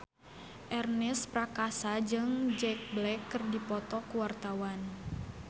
Ernest Prakasa jeung Jack Black keur dipoto ku wartawan